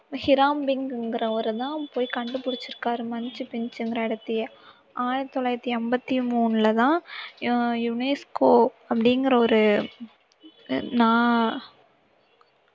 Hiram பிங்கிறவரு தான் போய் கண்டுபிடிச்சிருக்காரு மச்சு பிச்சுங்கற இடத்தையே ஆயிரத்தி தொள்ளாயிரத்தி அம்பத்தி மூணுலதான் அஹ் UNESCO அப்படிங்கிற ஒரு நா~